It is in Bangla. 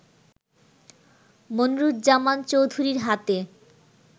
মনিরুজ্জামান চৌধুরীর হাতে